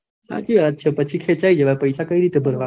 સાચી વાત છે પછી ખેચાય જવાય પૈસા કઈ રીતે ભરવા